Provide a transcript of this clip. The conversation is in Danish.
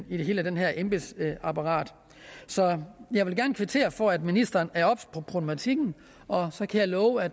i hele det her embedsapparat så jeg vil gerne kvittere for at ministeren er obs på problematikken og jeg kan love at